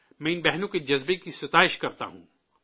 میں ان بہنوں کے جذبے کی تعریف کرتا ہوں